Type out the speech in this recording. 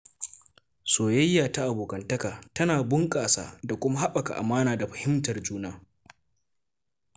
Soyayya ta abokantaka tana bunƙasa da kuma haɓaka amana da fahimtar juna.